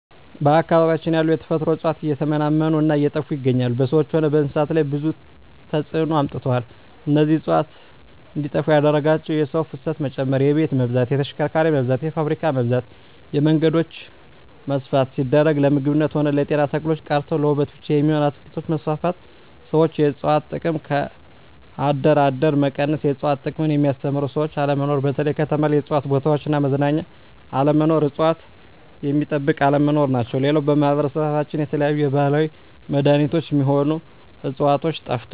በአካባቢያችን ያሉ የተፈጥሮ እጽዋት እየተመናመኑ እና እየጠፋ ይገኛሉ በሰዎች ሆነ በእንስሳት ላይ ብዙ ተጽዕኖ አምጥተዋል እነዚህ እጽዋት እንዴጠፋ ያደረጋቸው የሰው ፋሰት መጨመር የቤት መብዛት የተሽከርካሪ መብዛት የፋብሪካ መብዛት የመንገዶች መስፍን ሲደረግ ለምግብነት ሆነ ለጤና ተክሎች ቀርተው ለዉበት ብቻ የሚሆኑ አትክልቶች መስፋፋት ሠዎች የእጽዋት ጥቅም ከአደር አደር መቀነስ የእጽዋት ጥቅምን የሚያስተምሩ ሰዎች አለመኖር በተለይ ከተማ ላይ የእጽዋት ቦታዎች እና መዝናኛ አለመኖር እጽዋት ሚጠበቅ አለመኖር ናቸው ሌላው በማህበረሰባችን የተለያዩ የባህላዊ መዳኔቾች ሚሆኑ ህጽዋቾች ጠፍተዋል